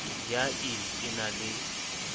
ya ill e na le